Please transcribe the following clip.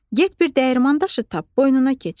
Get bir dəyirman daşı tap, boynuna keçir.